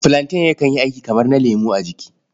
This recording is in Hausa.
Filanten yakan yi aiki kamar na lemo a jiki.